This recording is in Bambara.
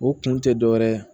O kun tɛ dɔ wɛrɛ ye